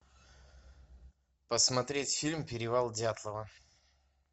посмотреть фильм перевал дятлова